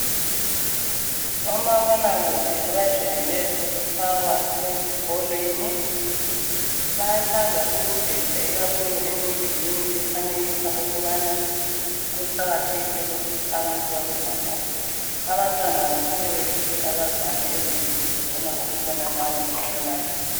Omabonakude abajayele ukufakwa ezikolweni .Bayathanda ukudwetshwa ikakhulu emidulini efanekisa ukubana kuqakathekile ukuthi abantu babe labo .Abantwana abasoke behluphe abazali ezindlini befuna ukubona labo mabonakude .